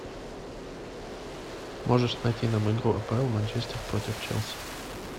можешь найти нам игру апл манчестер против челси